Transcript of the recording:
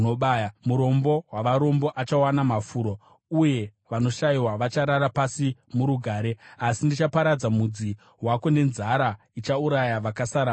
Murombo wavarombo achawana mafuro, uye vanoshayiwa vacharara pasi murugare. Asi ndichaparadza mudzi wako nenzara; ichauraya vakasara vako.